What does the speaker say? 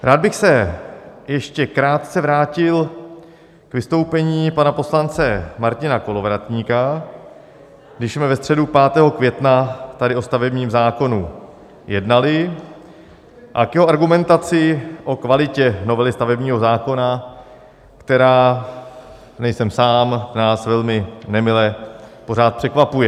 Rád bych se ještě krátce vrátil k vystoupení pana poslance Martina Kolovratníka, když jsme ve středu 5. května tady o stavebním zákonu jednali, a k jeho argumentaci o kvalitě novely stavebního zákona, která - nejsem sám - nás velmi nemile pořád překvapuje.